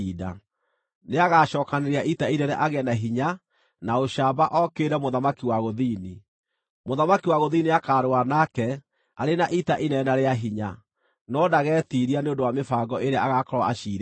“Nĩagacookanĩrĩria ita inene agĩe na hinya na ũcamba okĩrĩre mũthamaki wa gũthini. Mũthamaki wa gũthini nĩakarũa nake arĩ na ita inene na rĩa hinya, no ndagetiiria nĩ ũndũ wa mĩbango ĩrĩa agaakorwo aciirĩirwo.